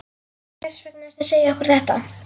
Hvers vegna ertu að segja okkur þetta?